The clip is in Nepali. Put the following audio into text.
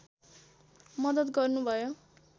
मद्दत गर्नुभयो